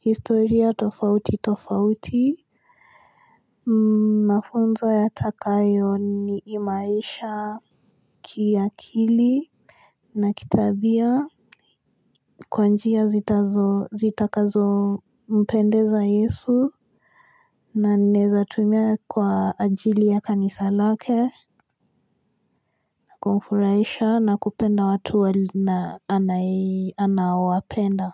historia tofauti tofauti mmh mafunzo ya takayo ni imaisha Kiakili Na kitabia kwa njia zitazo zitakazo mpendeza yesu. Naneza tumia kwa ajili ya kanisa lake na kumfuraisha na kupenda watu wali na anawapenda.